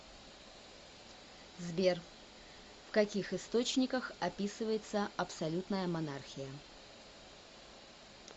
сбер в каких источниках описывается абсолютная монархия